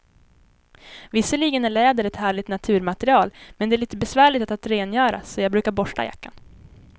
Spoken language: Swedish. Visserligen är läder ett härligt naturmaterial, men det är lite besvärligt att rengöra, så jag brukar borsta jackan.